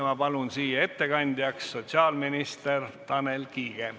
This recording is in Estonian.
Ma palun siia ettekandjaks sotsiaalminister Tanel Kiige.